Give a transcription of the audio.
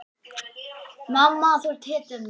Mamma, þú ert hetjan mín.